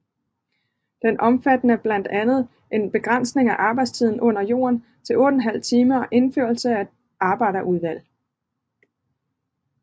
Den omfattede blandt andet en begrænsning af arbejdstiden under jorden til 8½ time og indførelse af arbejderudvalg